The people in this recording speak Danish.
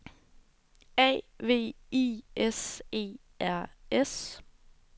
A V I S E R S